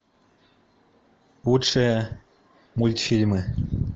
лучшие мультфильмы